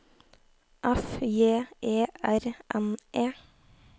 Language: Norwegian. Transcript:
F J E R N E